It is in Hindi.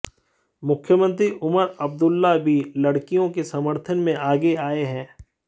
मुख्यमंत्री उमर अब्दुल्ला भी लड़कियों के समर्थन में आगे आए हैं